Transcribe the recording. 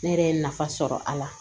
Ne yɛrɛ ye nafa sɔrɔ a la